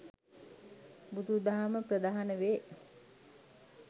බුදු දහම ප්‍රධාන වේ.